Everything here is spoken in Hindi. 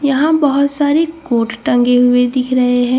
यहाँ बहुत सारे कोर्ट टंगे हुए दिख रहे है जिनमें से --